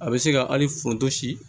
A bɛ se ka hali foronto si